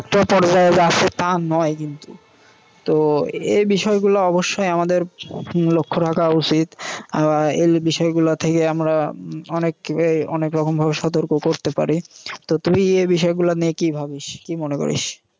তো এই বিষয় গুলা অবশ্যই আমাদের লক্ষ্য রাখা উচিত বা এই বিষয়গুলো থেকে আমরা অনেকে অনেক্রকম ভাবে সতর্ক করতে পারি। তো তুই এই বিষয় গুলা নিয়ে কী ভাবিস? কী মনে করিস?